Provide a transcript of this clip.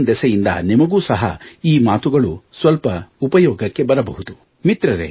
lockdown ದೆಸೆಯಿಂದ ನಿಮಗೂ ಸಹ ಈ ಮಾತುಗಳು ಸ್ವಲ್ಪ ಉಪಯೋಗಕ್ಕೆ ಬರಬಹುದು